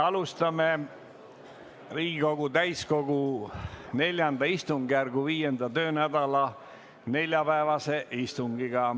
Alustame Riigikogu täiskogu IV istungjärgu viienda töönädala neljapäevast istungit.